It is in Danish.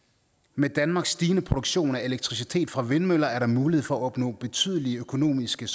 med danmarks stigende produktion af elektricitet fra vindmøller er der mulighed for at opnå såvel betydelige økonomiske